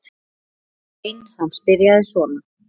Grein hans byrjaði svona